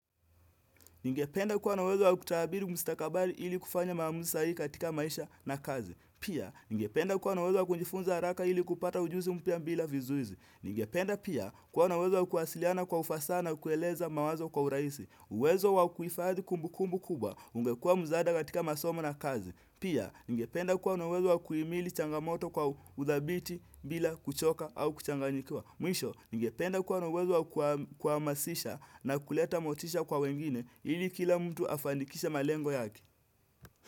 Ningependa kuwa na uweezo wa kutahabili mistakabali ili kufanya maamuzi sahihi katika maisha na kazi. Pia, ningependa kuwa na uwezo wa kunjifunza haraka ili kupata ujuzi mpya bila vizuizi. Ningependa pia, kuwa na uwezo wa kuwasiliana kwa ufasaha na kueleza mawazo kwa urahisi. Uwezo wa kuifadhi kumbu kumbu kubwa ungekuwa mzada katika masoma na kazi. Pia, ningependa kuwa na uwezo wa kuimili changamoto kwa udhabiti bila kuchoka au kuchanganyikiwa. Mwisho, ningependa kuwa na uwezo wa kwa masisha na kuleta motisha kwa wengine ili kila mtu afanikishe malengo yake.